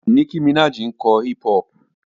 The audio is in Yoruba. Nicki Minaj ń kọ hip-hop.